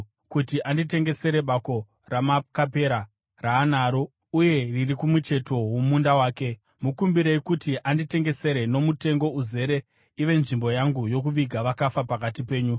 kuti anditengesere bako raMakapera, raanaro uye riri kumucheto womunda wake. Mukumbirei kuti anditengesere nomutengo uzere ive nzvimbo yangu yokuviga vakafa pakati penyu.”